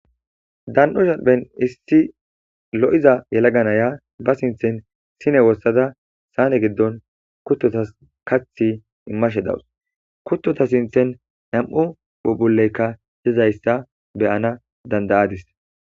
dan7o shalphen issi lo7iza yelaga naya ba sinthen sine wothada saane giddon kuttotas kathi immashe dawus kuttota sinthen nam7u bubuleykka hezayssa beyana dandayadis.